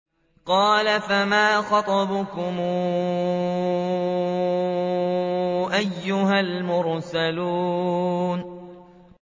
۞ قَالَ فَمَا خَطْبُكُمْ أَيُّهَا الْمُرْسَلُونَ